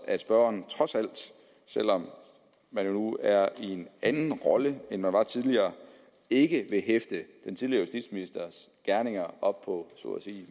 at spørgeren trods alt selv om man nu er i en anden rolle end man var tidligere ikke vil hæfte den tidligere justitsministers gerninger op på